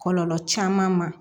Kɔlɔlɔ caman ma